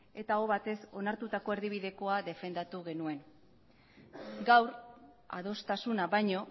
eta aho batez onartutako erdibidekoa defendatu genuen gaur adostasuna baino